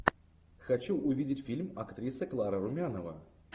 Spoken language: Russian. хочу увидеть фильм актриса клара румянова